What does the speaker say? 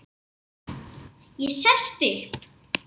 Ég sest upp.